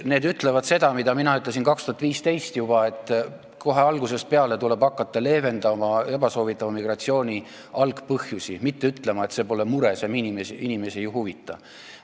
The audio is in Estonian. See ütleb seda, mida mina ütlesin juba aastal 2015, et kohe algusest peale tuleb hakata leevendama ebasoovitava migratsiooni algpõhjusi, mitte ütlema, et see pole mure ja see inimesi ei huvita.